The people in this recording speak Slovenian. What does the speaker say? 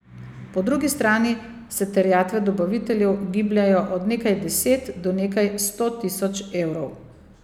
Po drugi strani se terjatve dobaviteljev gibljejo od nekaj deset do nekaj sto tisoč evrov.